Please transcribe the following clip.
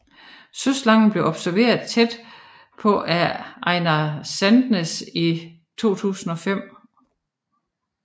Søslangen blev observeret tæt på af Einar Sandnes i 2005